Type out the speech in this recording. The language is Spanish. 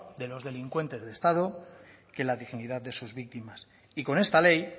de los delincuentes de estado que la dignidad de sus víctimas y con esta ley